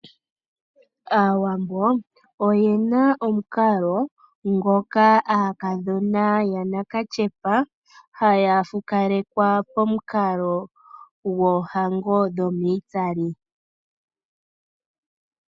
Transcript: Aawambo oye na omukalo ngoka aakadhona yanakatyepa haya fukalekwa pomukalo gwoohango dhomitsali.